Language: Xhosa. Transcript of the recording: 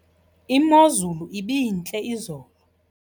Imozulu ibintle izolo.